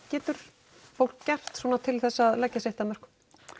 getur fólk gert svona til þess að leggja sitt að mörkum